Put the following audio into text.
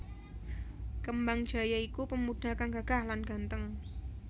Kembangjaya iku pemuda kang gagah lan ganteng